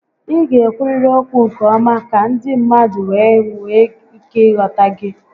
Ị ga ekwuriri okwu nke ọma ka ndị mmadụ wee nwee ike ị ghọta gị